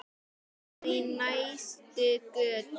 Það er í næstu götu.